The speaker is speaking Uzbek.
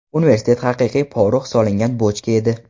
Universitet haqiqiy porox solingan bochka edi.